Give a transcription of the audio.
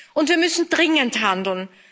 Und wir müssen dringend handeln.